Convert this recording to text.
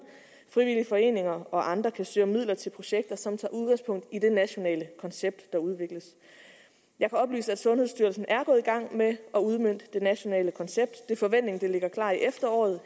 frivillige foreninger og andre kan søge om midler til projekter som tager udgangspunkt i det nationale koncept der udvikles jeg kan oplyse at sundhedsstyrelsen er gået i gang med at udmønte det nationale koncept det er forventningen at det ligger klart i efteråret